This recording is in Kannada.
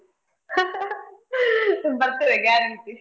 ಬರ್ತೇವೆ guarantee .